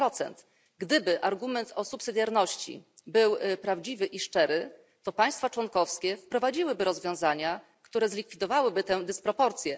7 Gdyby argument o subsydiarności był prawdziwy i szczery, to państwa członkowskie wprowadziłyby rozwiązania, które zlikwidowałyby tę dysproporcję.